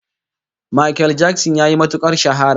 Makel Jakson yayi matukar shahara